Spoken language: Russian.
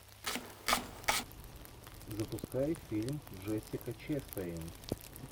запускай фильм джессика честейн